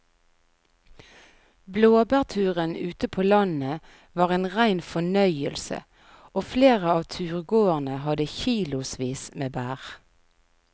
Blåbærturen ute på landet var en rein fornøyelse og flere av turgåerene hadde kilosvis med bær.